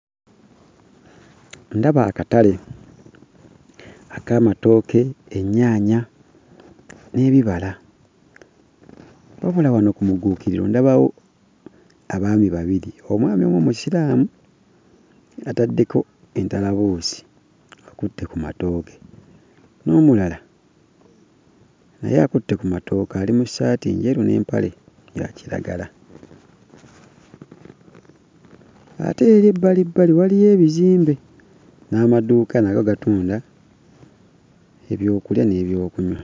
Ndaba akatale ak'amatooke, ennyaanya n'ebibala. Wabula wano ku mugguukiriro ndabawo abaami babiri: omwami omu Musiraamu ataddeko entalabuusi akutte ku matooke n'omulala naye akutte ku matooke ali mu ssaati njeru n'empale eya kiragala. Ate eri ebbalibbali waliyo ebizimbe n'amaduuka nago gatunda ebyokulya n'ebyokunywa.